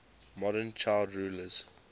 modern child rulers